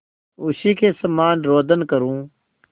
उसी के समान रोदन करूँ